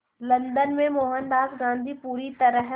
London में मोहनदास गांधी पूरी तरह